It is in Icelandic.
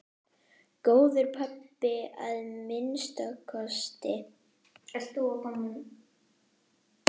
Góður pabbi að minnsta kosti.